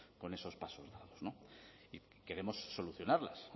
con esos pasos dados y queremos solucionarlas